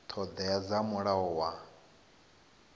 ṱho ḓea dza mulayo wa